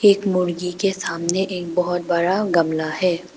एक मुर्गी के सामने एक बहुत बड़ा गमला है।